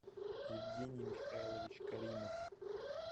евгений михайлович каримов